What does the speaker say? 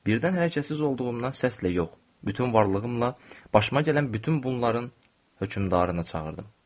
Birdən hər kəssiz olduğumdan səslə yox, bütün varlığımla başıma gələn bütün bunların hökmdarını çağırdım.